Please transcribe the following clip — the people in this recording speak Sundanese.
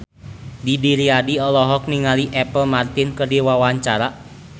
Didi Riyadi olohok ningali Apple Martin keur diwawancara